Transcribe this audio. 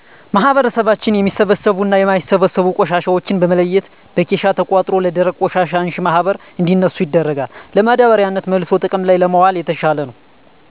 ማህበረሰባችን የሚበሰብሱና የማይበሰብሱ ቆሻሻዎችን በመለየት በኬሻ ተቆጥሮ ለደረቅ ቆሻሻ አንሺ ማህበር እንዲያነሱ ይደረጋል። ለማዳበሪያነት መልሶ ጥቅም ላይ ለማዋል የተሻለ ነው።